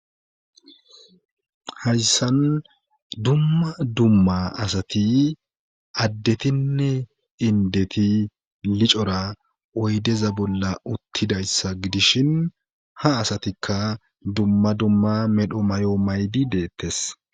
hayssan dumma dumma asati addetinne indeti licora oydeza bolla uttidayssa gidishin ha asatikka dumma dumma medho may7o maydi deettes